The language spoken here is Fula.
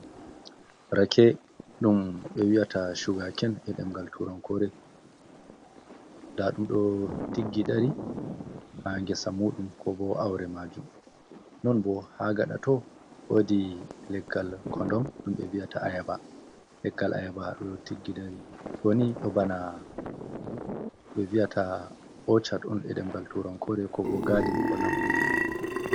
Rake, dum be wi'ata chugaken e demgal turankore, nda dum do tiggidari ha gesa mudum, ko bo aure majum. Non bo ha gadato wodi leggal kondom dum be viyata ayaba, leggal ayaba do tiggi dari, doni do bana be viyata oca e demgal turankore, ko bo gadin, ko lambu.